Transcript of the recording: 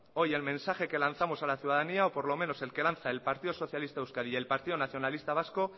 hoy el mensaje que lanzamos a la ciudadanía o por lo menos el que lanza el partido socialista euskadi y el partido nacionalista vasco